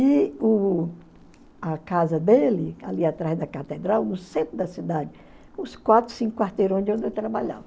E o a casa dele, ali atrás da catedral, no centro da cidade, uns quatro, cinco quarteirões de onde eu trabalhava.